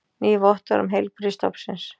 Ný vottorð um heilbrigði stofnsins